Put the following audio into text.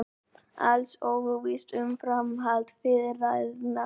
Alls óvíst um framhald viðræðna